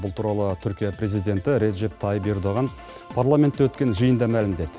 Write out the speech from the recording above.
бұл туралы түркия президенті режеп тайып ердоған парламентте өткен жиында мәлімдеді